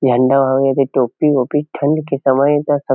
झण्डा अऊ एदे टोपी ओपी ठंड के समय ए त सब--